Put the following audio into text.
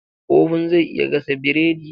Oven zai iya gasa bredi.